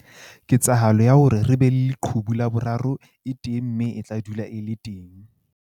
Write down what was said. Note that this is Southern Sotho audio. Ketsahalo ya hore re be le leqhubu la boraro e teng mme e tla dula e le teng.